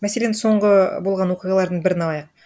мәселен соңғы болған оқиғалардың бірін алайық